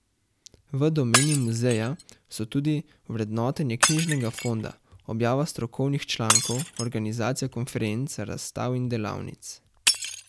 V domeni muzeja so tudi vrednotenje knjižnega fonda, objava strokovnih člankov, organizacija konferenc, razstav in delavnic.